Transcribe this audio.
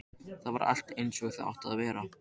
Þar var allt einsog það átti að vera.